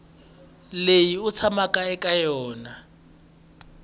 leyi u tshamaka eka yona